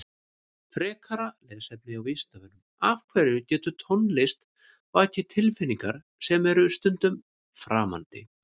Frekara lesefni á Vísindavefnum Af hverju getur tónlist vakið tilfinningar sem eru stundum framandi?